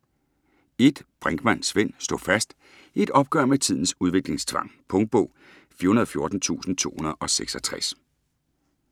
Brinkmann, Svend: Stå fast: et opgør med tidens udviklingstvang Punktbog 414266